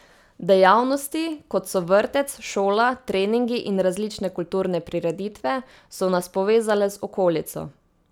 Dejavnosti, kot so vrtec, šola, treningi in različne kulturne prireditve, so nas povezale z okolico.